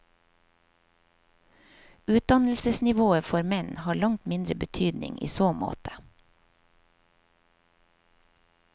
Utdannelsesnivået for menn har langt mindre betydning i så måte.